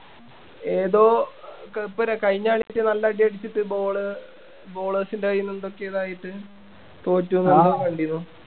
ഏതോ ഇപ്പൊ കഴിഞ്ഞ കളില് നല്ല അടി അടിച്ചിട്ട് ball bowlers ൻ്റെ കയ്യിന്ന് എന്തൊക്കെയോ ഇതായിട്ട് തോറ്റുന്ന് എന്തോ കണ്ടിരുന്നു